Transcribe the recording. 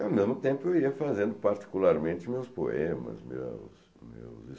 E, ao mesmo tempo, eu ia fazendo particularmente meus poemas, meus meus estudos.